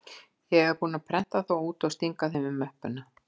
Ég er búinn að prenta þá út og stinga þeim í möppuna.